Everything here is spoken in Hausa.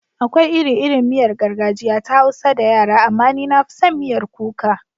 Akwai iri-irin miyar gargajiya ta Hausa da yara, amma ni na fi son miyar kuka.